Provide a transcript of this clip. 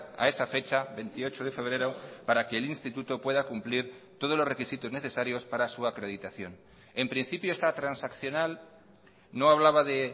a esa fecha veintiocho de febrero para que el instituto pueda cumplir todos los requisitos necesarios para su acreditación en principio esta transaccional no hablaba de